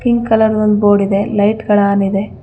Pink colour ಒಂದ್ board ಇದೆ. ಲೈಟ್ಗಳ್ ಆನ್ ಇದೆ.